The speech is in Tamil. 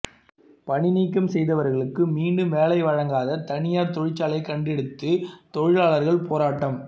பணிநீக்கம் செய்தவர்களுக்கு மீண்டும் வேலை வழங்காத தனியார் தொழிற்சாலையை கண்டித்து தொழிலாளர்கள் போராட்டம்